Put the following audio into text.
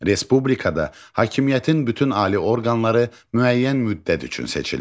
Respublikada hakimiyyətin bütün ali orqanları müəyyən müddət üçün seçilir.